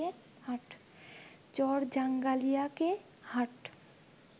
চরজাঙ্গালিয়া কে হাট